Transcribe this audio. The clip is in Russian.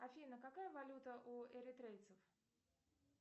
афина какая валюта у эритрейцев